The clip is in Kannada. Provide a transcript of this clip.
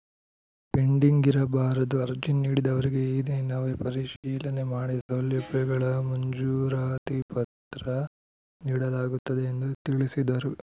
ಪೆಂಡಿಂಗ್‌ ಇರಬಾರದು ಅರ್ಜಿ ನೀಡಿದವರಿಗೆ ಈ ದಿನವೇ ಪರಿಶೀಲನೆ ಮಾಡಿ ಸೌಲಭ್ಯಗಳ ಮಂಜೂರಾತಿ ಪತ್ರ ನೀಡಲಾಗುತ್ತದೆ ಎಂದು ತಿಳಿಸಿದರು